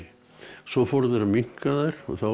svo fóru þeir að minnka þær